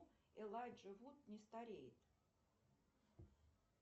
элайджа вуд не стареет